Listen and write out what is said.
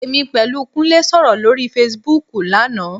Èmi pẹ̀lú Kúnlé sọ̀rọ̀ lórí Facebook lánàá